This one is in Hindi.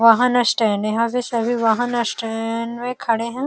वाहन स्टैंड यहाँ से सभी वाहन स्टैंएएड में खड़े हैं।